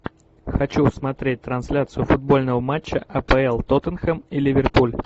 хочу смотреть трансляцию футбольного матча апл тоттенхэм и ливерпуль